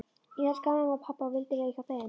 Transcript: Ég elskaði mömmu og pabba og vildi vera hjá þeim.